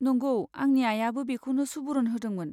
नंगौ, आंनि आइयाबो बेखौनो सुबुरुन होदोंमोन।